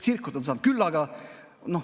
Tsirkust on saanud küllaga.